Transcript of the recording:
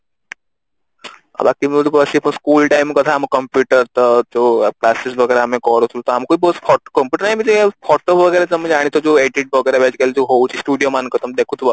ଆଉ ବାକି ମୁଁ school time କଥା ଆମ computer ତ ଯୋଉ classes ବଗେରା ଆମେ କରୁଥୁଲୁ ତଆମକୁ ବି ବହୁତ computerize ଫୋଟୋ ବଗେରା ତମେ ଜାଣିଥିବ ଯୋଉ edit ବଗେରା ବି ଯୋଉ ଆଜିକାଲି ଯୋଉ ହଉଛି studio ମାନଙ୍କରେ ତମେ ଦେଖୁଥୁବ